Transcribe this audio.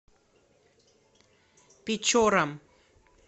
печорам